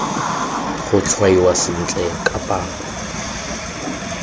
go tshwaiwa sentle ka palo